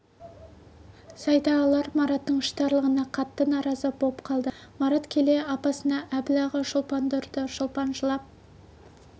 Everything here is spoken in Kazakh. сайдағылар мараттың іштарлығына қатты наразы боп қалды марат келе апасына әбіл аға шолпанды ұрды шолпан жылап